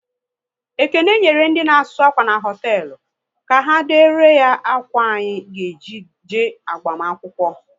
Ekene nyere ndị na asụ akwa n' hoteelu, ka ha dere ya ákwà anyị ga eji je agbamakwụkwọ